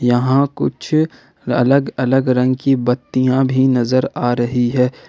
यहां कुछ अलग अलग रंग की बत्तियां भी नजर आ रही है।